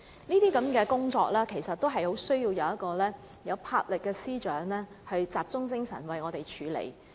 這些工作需要一位富有魄力的司長集中精神處理。